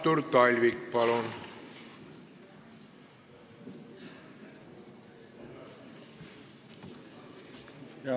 Artur Talvik, palun!